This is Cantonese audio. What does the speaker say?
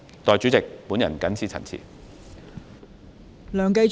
代理主席，我謹此陳辭。